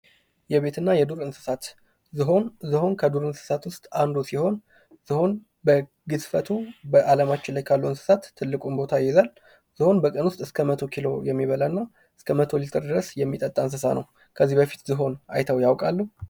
የቤት እና የዱር እንስሳት ዝሆን:- ዝሆን ከዱር እንስሳት ዉስጥ አንዱ ሲሆን ዝሆን በግዝፈቱ በአለማችን ላይ ካሉ እንስሳት ትልቁን ቦታ ይይዛል። ዝሆን እስከ 100 ኪሎ የሚበላ እና እስከ 100 ሊትር ድረስ የሚጠጣ እንስሳ ነዉ። ከዚህ በፊት ዝሆን አይተዉ ያዉቃሉ?